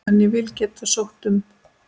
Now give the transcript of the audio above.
En ég vil geta sótt um.